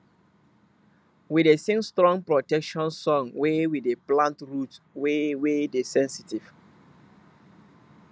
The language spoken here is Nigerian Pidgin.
we dey sing strong protection song when we dey plant root wey wey dey sensitive